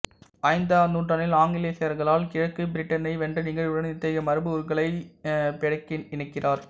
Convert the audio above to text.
ஐந்தாவது நூற்றாண்டில் ஆங்கிலேயசாக்சர்கள் கிழக்கு பிரிட்டனை வென்ற நிகழ்வுடன் இத்தகைய மரபு உருக்களை பெடெ இணைக்கிறார்